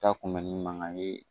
Ta kunbɛli mankan ye